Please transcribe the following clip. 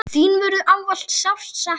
Þín verður ávallt sárt saknað.